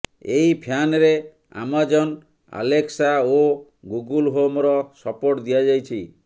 ଏହି ଫ୍ୟାନରେ Amazon Alexa ଓ ଗୁଗୁଲ ହୋମର ସପୋର୍ଟ ଦିଆଯାଇଛି